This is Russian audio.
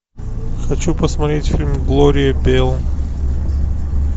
хочу посмотреть фильм глория белл